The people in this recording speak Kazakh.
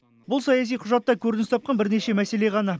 бұл саяси құжатта көрініс тапқан бірнеше мәселе ғана